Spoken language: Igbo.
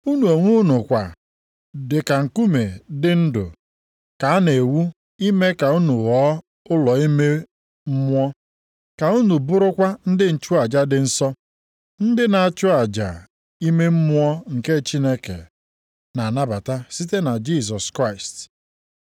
Unu onwe unu kwa dị ka nkume dị ndụ ka a na-ewu ime ka unu ghọọ ụlọ ime mmụọ, ka unu bụrụkwa ndị nchụaja dị nsọ, ndị na-achụ aja ime mmụọ nke Chineke na-anabata site na Jisọs Kraịst.